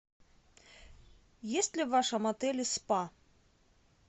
есть ли в вашем отеле спа